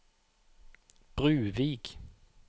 Bruvik